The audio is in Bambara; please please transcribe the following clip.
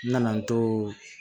N nana n to